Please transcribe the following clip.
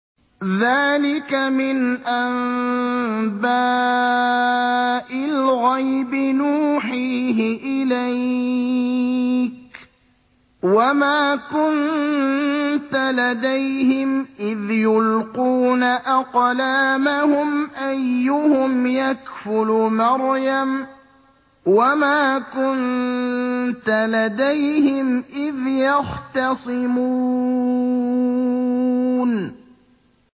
ذَٰلِكَ مِنْ أَنبَاءِ الْغَيْبِ نُوحِيهِ إِلَيْكَ ۚ وَمَا كُنتَ لَدَيْهِمْ إِذْ يُلْقُونَ أَقْلَامَهُمْ أَيُّهُمْ يَكْفُلُ مَرْيَمَ وَمَا كُنتَ لَدَيْهِمْ إِذْ يَخْتَصِمُونَ